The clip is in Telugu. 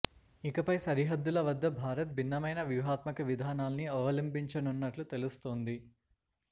ఇకపై సరిహద్దుల వద్ద భారత్ భిన్నమైన వ్యూహాత్మక విధానాల్ని అవలంబించనున్నట్లు తెలుస్తోంది